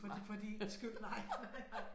For din for din skyld nej nej